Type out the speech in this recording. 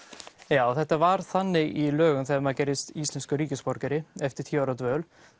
já þetta var þannig í lögum þegar maður gerðist íslenskur ríkisborgari eftir tíu ára dvöl